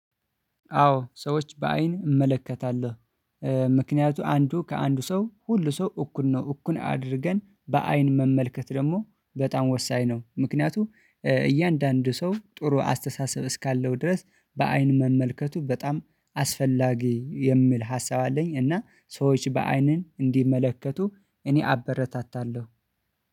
አዎ ሰዎች በአይን እመለከታለሁ። ምክንያቱ አንዱ ከአንዱ ሰው ሁሉ ሰው እኩል ነው እኩል አድርገን በአይን መመልከት ደግሞ በጣም ወሳኝ ነው። ምክንያቱም እያንዳንዱ ሰው ጥሩ አስተሳሰብ እስካለው ድረስ በአይን መመልከቱ በጣም አስፈላጊ የሚል ሀሳብ አለኝ። እና ሰዎች በአይንን እንዲመለከቱ እኔ አበረታታለሁ